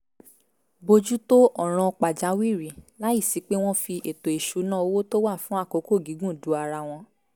bójú tó ọ̀ràn pàjáwìrì láìsí pé wọ́n fi ètò ìṣúnná owó tó wà fún àkókò gígùn du ara wọn